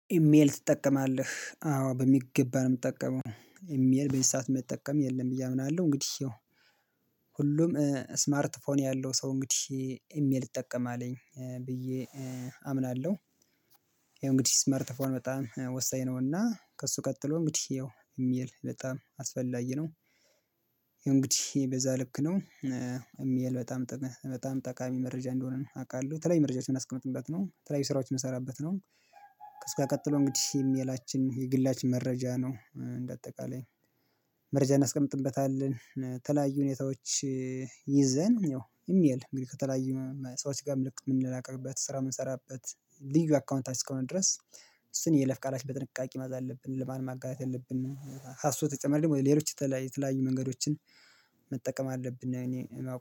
ኢሜል ትጠቀማለህ አዎ በሚገባ ነው የምጠቀመው ኢሜል ቤት ሰዓት መጠቀም የለም ብዬ ምን አለው እንግዲህ ይኸው ሁሉም ስማርት ፎን ያለው ሰው እንግዲህ ኢሜል ይጠቀማልኝ ብዬ አምናለሁ። ይኸው እንግዲህ ስመርት አፎን በጣም ወሳኝ ነውና ከእሱ ቀጥሎ እንግዲህ ያው የሚል በጣም አስፈላጊ ነው። እንግዲህ በዛ ልክ ነው የሚል በጣም በጣም ጠቃሚ መረጃ እንደሆነ አውቃለሁ ተለይ መረጃችን የምናስቀምጥበት ነው ተለያዩ ስራዎች የምናሰቀምጥበት ነው። እስካሁን ቀጥሎ እንግዲህ የሚላችን የግላችን መረጃ ነው እንደ አጠቃላይ መረጃ እናስቀምጥበታለን። ተለያዩ ሁኔታዎች ይዘን ያው ኢሚል እንግዲህ ከተለያዩ ሰዎች ጋር መልእክት የምንላላክበት ስራ የምንሰራበት ልዩ አካውንታችሁ እስከሆነ ድረስ እሱን የይለፍ ቃላችን በጥንቃቄ መያዝ አለብን። ለማን ማጋራት የለብንም። ከሱ በተጨማሪ ደግሞ ሌሎች የተለያየ የተለያየ መንገዶችን መጠቀም አለብን እኔ